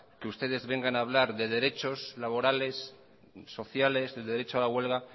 que ustedes vengan a hablar de derechos laborales sociales de derecho a la huelga